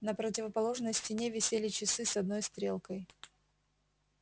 на противоположной стене висели часы с одной стрелкой